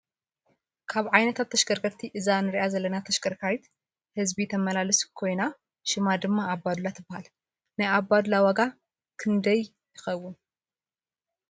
ካብ ዓይነታት ተሽከርከርቲ እዛ እንረኣ ዘለና ተሽከርካሪት ህዝቢ ተማላልስ ኮይና ሽማ ድማ ኣባ ዱላ ትበሃል። ናይ ኣባዱላ ዋጋ ክንዳይ ይከውን ?